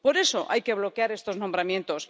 Por eso, hay que bloquear estos nombramientos.